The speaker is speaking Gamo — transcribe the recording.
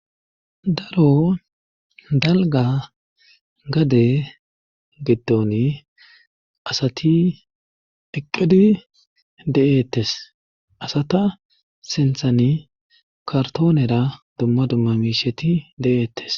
daro dalga gade giddon asati iqqidi de7eettes asata sinthani kartoonera dumma dumma miisheti de7eettes